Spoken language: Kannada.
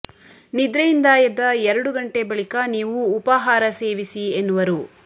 ನಿದ್ರೆಯಿಂದ ಎದ್ದ ಎರಡು ಗಂಟೆ ಬಳಿಕ ನೀವು ಉಪಾಹಾರ ಸೇವಿಸಿ ಎನ್ನುವರು